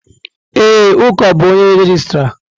Ee, Uko bụ onye regịstrá.